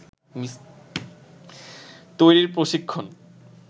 তৈরির প্রশিক্ষণ